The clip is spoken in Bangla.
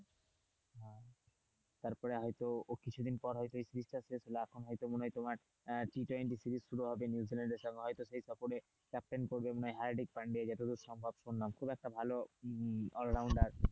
তারপর হয়তো ও কিছুদিন পর হয়তো এখন মনে হয় তোমার হ্যাঁ টি-টোয়েন্টি series শুরু হবে নিউজিল্যান্ডের সঙ্গে হয়তো তখনই ক্যাপ্টেন করবে হার্দিক পান্ডে যত সম্ভব শুনলাম খুব একটা ভালো all rounder.